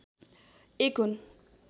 एक हुन्